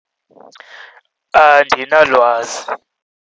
Andinalwazi.